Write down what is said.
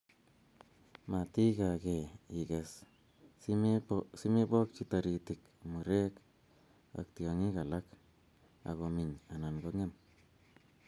Matikakee ikes simebokyi taritik, murek ak tiong'ik alak akominy anan kong'em